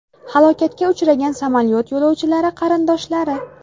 Halokatga uchragan samolyot yo‘lovchilari qarindoshlari.